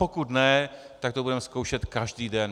Pokud ne, tak to budeme zkoušet každý den.